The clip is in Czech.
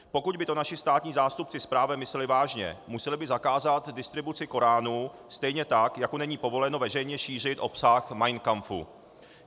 Pokud by to naši státní zástupci s právem mysleli vážně, museli by zakázat distribuci Koránu stejně tak, jako není povoleno veřejně šířit obsah Mein Kampfu.